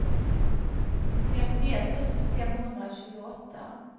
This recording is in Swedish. femtioett tusen femhundratjugoåtta